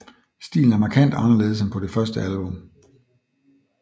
Stilen er markant anderledes end på det første album